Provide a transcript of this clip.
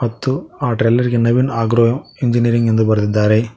ಮತ್ತು ಆ ಟ್ರೈಲರ್ ಗೆ ನವೀನ್ ಆಗ್ರೋ ಇಂಜಿನಿಯರಿಂಗ್ ಎಂದು ಬರೆದಿದ್ದಾರೆ.